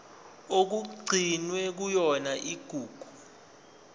okugcinwe kuyona igugu